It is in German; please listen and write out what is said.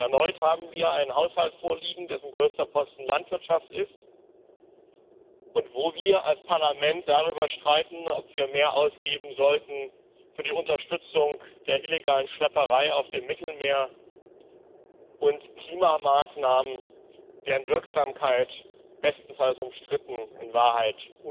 Und erneut haben wir einen Haushalt vorliegen, dessen größter Posten die Landwirtschaft ist und wo wir als Parlament darüber streiten, ob wir mehr für die Unterstützung der illegalen Schlepperei auf dem Mittelmeer und Klimamaßnahmen ausgeben sollten, deren Wirksamkeit bestenfalls umstritten, in Wahrheit